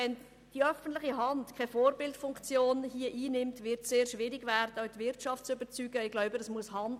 Wenn die öffentliche Hand hier keine Vorbildfunktion einnimmt, wird es sehr schwierig werden, auch die Wirtschaft zu überzeugen.